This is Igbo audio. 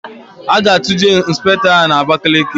A ga-atụje Ịnspektọ ahụ n'Abakaliki.